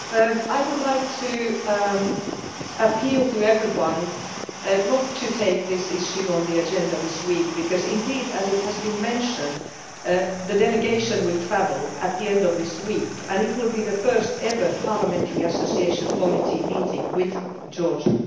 Mr President, I would like to appeal to everyone not to take this issue on the agenda this week because indeed, as has been mentioned, the delegation will travel at the end of this week and it will be the first ever parliamentary association committee meeting with Georgia.